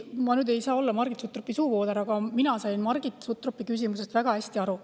Ma ei saa olla Margit Sutropi suuvooder, aga mina sain Margit Sutropi küsimusest väga hästi aru.